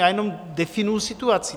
Já jenom definuji situaci.